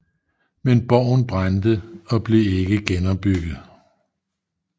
Men borgen brændte og blev ikke genopbygget